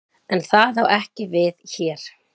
En það á ekki við hér.